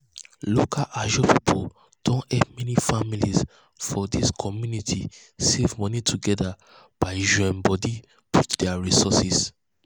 local ajo people don help many families for di community save money together by join body put their resources.